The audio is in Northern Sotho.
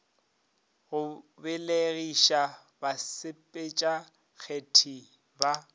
go belegiša basepetša kgetsi ba